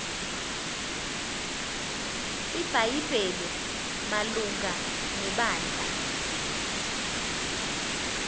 ibhayibhile malunga nebandla